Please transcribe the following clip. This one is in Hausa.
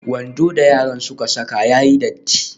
Wando da yaran suka saka ya yi datti.